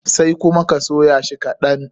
Sai kuma ka soya shi kaɗan.